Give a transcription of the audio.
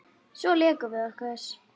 Svo lékum við okkur.